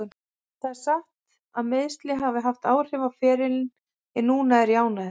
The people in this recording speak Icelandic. Það er satt að meiðsli hafa haft áhrif á ferilinn en núna er ég ánægður.